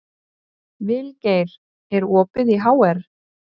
Vilgeir, er opið í HR?